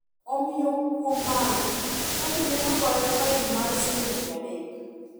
Omiyo kuom mano, chadi ne ogoye fain mar siling mia adek.